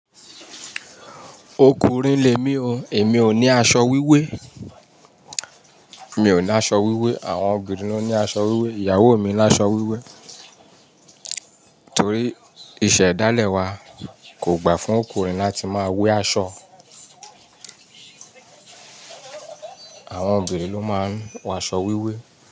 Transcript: "Okùnrin lè mi o, èmi ò ní aṣọ wíwé." Mi ò ní aṣọ wíwé, àwọn obìnrin ló ní aṣọ wíwé, ìyàwó mi ní aṣọ wíwé. Torí iṣẹ́ ìdálẹ̀ wa kò gbà fún ọkùnrin láti máa wé aṣọ. Àwọn obìnrin ló máa ń wọ aṣọ wíwé.